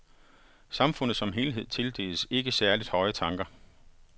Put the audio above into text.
Samfundet som helhed tildeles ikke særligt høje tanker.